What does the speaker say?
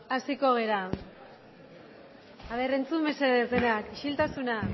hasiko gara ea entzun mesedez denak isiltasuna